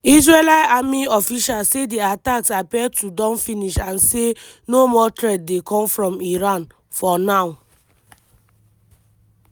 israeli army officials say di attacks appear to don finish and say no more threat dey come from iran "for now".